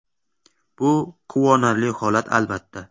Bu quvonarli holat albatta.